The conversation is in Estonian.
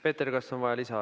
Peeter, kas on vaja lisaaga?